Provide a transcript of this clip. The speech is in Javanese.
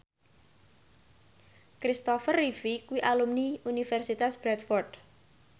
Kristopher Reeve kuwi alumni Universitas Bradford